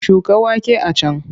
Shuka wake a can!